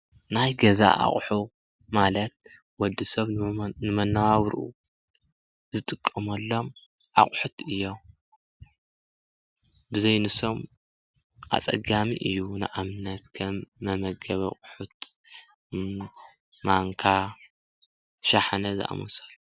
ናይ ገዛ ኣቁሑ ማለት ወዲ ሰብ ንመነባብርኡ ዝጥቀመሎም ኣቁሑት እዮም፡፡ ብዘይ ንሶም ኣፀጋሚ እዩ፡፡ ንኣብነት ከም መመገቢ ኣቑሑት ማንካ፣ ሻሓነ ዝኣምሰሉ፡፡